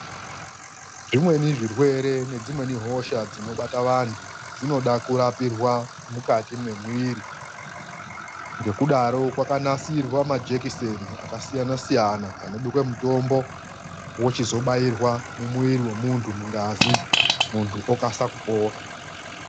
Zvimweni zvirwere nedzimweni hosha dzinobata vantu dzinoda kurapirwa mukati mwemwiri. Ngekudaro kwakanasirwa majekiseni akasiyana siyana anobekwe mutombi, wochizobairwa mumwiri womuntu mugazi muntu okasa kupona.